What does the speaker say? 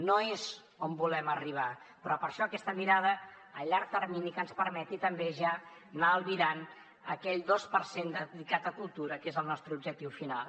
no és on volem arribar però per això aquesta mirada a llarg termini que ens permeti també ja anar albirant aquell dos per cent dedicat a cultura que és el nostre objectiu final